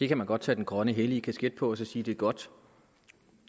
kan man godt tage den grønne hellige kasket på og så sige det er godt